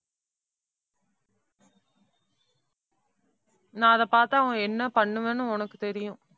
நான் அதை பார்த்தா என்ன பண்ணுவேன்னு உனக்கு தெரியும்.